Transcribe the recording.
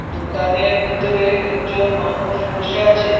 দোকানের বিতরে একজন মানুষ বসে আছেন।